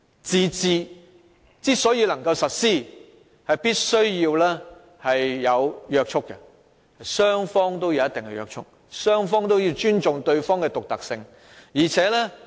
"自治"要實施，雙方都要有一定的約束，雙方也要尊重對方的獨特性。